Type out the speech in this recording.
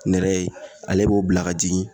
Nɛrɛ ye ale b'o bila ka jigin